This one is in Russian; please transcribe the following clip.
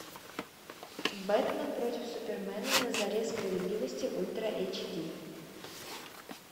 бэтмен против супермена на заре справедливости ультра эйч ди